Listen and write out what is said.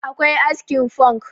akwai askin funk